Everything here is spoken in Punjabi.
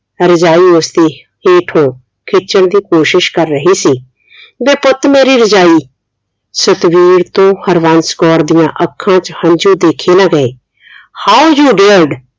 ਰਜਾਈ ਉਸਦੇ ਹੇਠੋਂ ਖਿੱਚਣ ਦੀ ਕੋਸ਼ਿਸ਼ ਕਰ ਰਹੀ ਸੀ ਵੇ ਪੁੱਤ ਮੇਰੀ ਰਜਾਈ ਸਤਵੀਰ ਤੋਂ ਹਰਬੰਸ ਕੌਰ ਦੀਆਂ ਅੱਖਾਂ ਚ ਹੰਝੂ ਦੇਖੇ ਨਾ ਗਏ how you dared